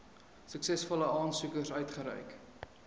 suksesvolle aansoekers uitgereik